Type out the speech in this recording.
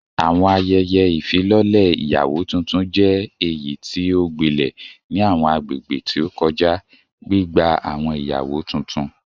Awọn ayẹyẹ ifilọlẹ iyawo tuntun jẹ eyiti o gbilẹ ni awọn agbegbe ti o kọja, gbigba awọn iyawo tuntun